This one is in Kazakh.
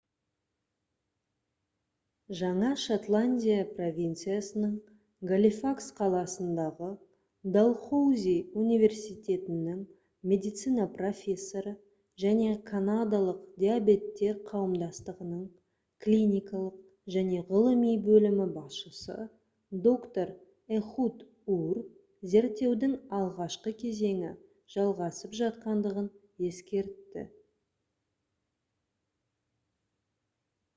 жаңа шотландия провинциясының галифакс қаласындағы далхоузи университетінің медицина профессоры және канадалық диабеттер қауымдастығының клиникалық және ғылыми бөлімі басшысы доктор эхуд ур зерттеудің алғашқы кезеңі жалғасып жатқандығын ескертті